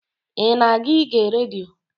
I na-aga ige redio?